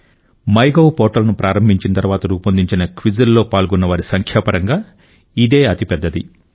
my Gov portal ను ప్రారంభించిన తర్వాత రూపొందించిన క్విజ్లలో పాల్గొన్నవారి సంఖ్యాపరంగా ఇదే అతిపెద్దది